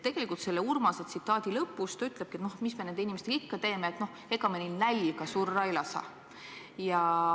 Sellest Urmasest rääkides ta lõpus ütlebki, et mis me nende inimestega ikka teeme ja noh, ega me neil nälga surra ei lase.